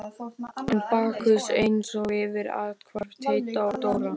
Enn er Bakkus eins og fyrr athvarf Teits og Dóra.